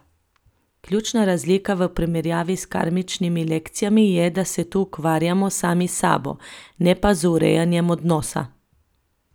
Ključna razlika v primerjavi s karmičnimi lekcijami je, da se tu ukvarjamo sami s sabo, ne pa z urejanjem odnosa.